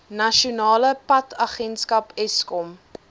nasionale padagenskap eskom